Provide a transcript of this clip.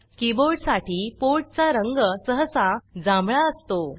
keyboard साठी port चा रंग सहसा जांभळा असतो